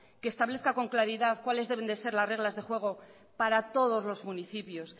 que establezca con claridad cuáles deben de ser las reglas de juego para todos los municipios